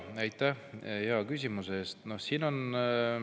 Aitäh hea küsimuse eest!